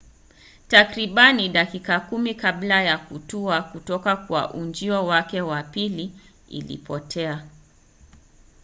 takribani dakika kumi kabla ya kutua kutoka kwa ujio wake wa pili ilipotea